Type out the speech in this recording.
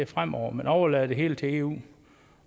fremover man overlader det hele til eu